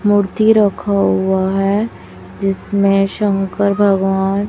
मूर्ति रखा हुआ है जिसमें शंकर भगवान--